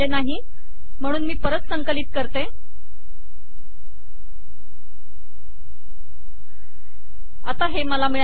म्हणून मी परत संकलित करते आणि आता हे मला मिळाले